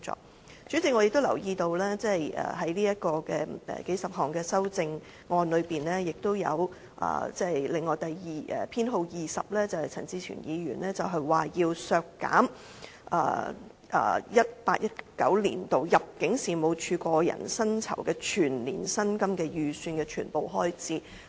代理主席，我亦留意到在數十項修正案中，陳志全議員提出修正案編號 20， 建議削減 2018-2019 年度入境事務處個人薪酬的全年薪金預算開支。